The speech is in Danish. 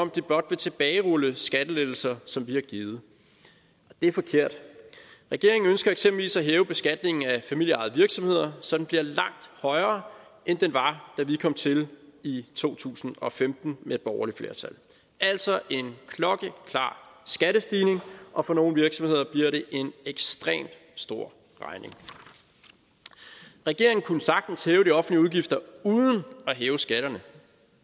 de blot vil tilbagerulle skattelettelser som vi har givet det er forkert regeringen ønsker eksempelvis at hæve beskatningen af familieejede virksomheder så den bliver langt højere end den var da vi kom til i to tusind og femten med et borgerligt flertal altså en klokkeklar skattestigning og for nogle virksomheder bliver det en ekstremt stor regning regeringen kunne sagtens hæve de offentlige udgifter uden at hæve skatterne